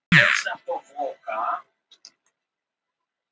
Það er mjög fallegt hérna í björtu veðri, sagði Sóley við